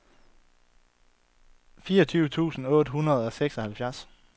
fireogfyrre tusind otte hundrede og seksoghalvfjerds